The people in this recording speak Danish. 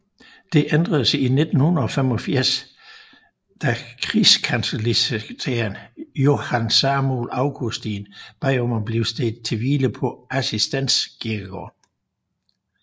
Det ændredes i 1785 da krigskancellisekretær Johan Samuel Augustin bad om at blive stedt til hvile på Assistens Kirkegård